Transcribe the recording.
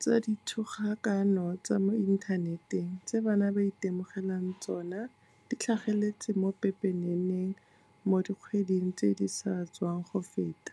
tsa dithogakano tsa mo inthaneteng tse bana ba itemogelang tsona di tlhageletse mo pepeneneng mo dikgweding tse di sa tswang go feta.